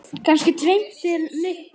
Kannski dreymdi mig bara.